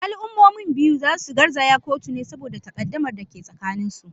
Al’ummomin biyu za su garzaya kotu ne saboda takaddamar da ke tsakaninsu.